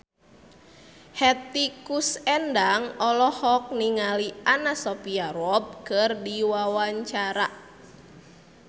Hetty Koes Endang olohok ningali Anna Sophia Robb keur diwawancara